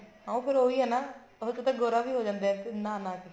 ਹਾਂ ਫੇਰ ਉਹੀ ਹੈ ਨਾ ਗੋਰਾ ਵੀ ਹੋ ਜਾਂਦਾ ਨਹਾ ਨਹਾ ਕੇ